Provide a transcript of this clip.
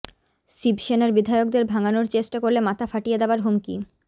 শিবসেনার বিধায়কদের ভাঙানোর চেষ্টা করলে মাথা ফাটিয়ে দেওয়ার হুমকি